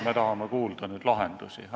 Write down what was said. Me tahame nüüd lahendusi kuulda.